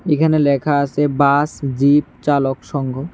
এইখানে লেখা আছে বাস জিপ চালক সংঘ।